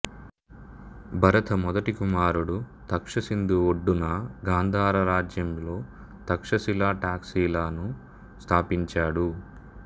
భరత మొదటి కుమారుడు తక్ష సింధు ఒడ్డున గాంధార రాజ్యంలో తక్షశిల టాక్సిలా ను స్థాపించాడు